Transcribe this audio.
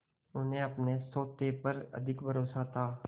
उन्हें अपने सोटे पर अधिक भरोसा था